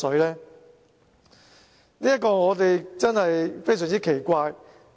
這一點真是非常奇怪。